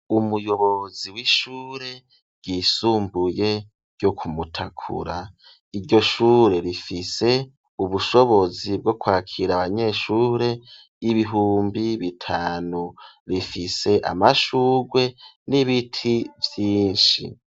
Umuyobozi w'ishure ryisumbuye ryo ku Mutakura. Iryo shure rifise ubushobozi bwo kwakira abanyeshure bihumbi bitanu. Rifise amashurwe n'ibiti vyinshi.